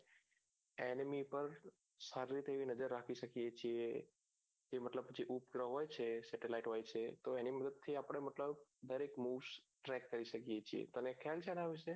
પર સારી રીતે એવી નજર રાખી શકીએ છે એ મતલબ જે ઉપગ્રહ હોય છે satellite હોય છે તો એમી મદદ થી આપણે મતલબ દરેક moves track કરી શકીએ છીએ તને ખ્યાલ છે આના વિષએ